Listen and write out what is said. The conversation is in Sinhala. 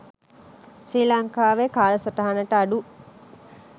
ශ්‍රී ලංකාවේ කාලසටහනට අඩු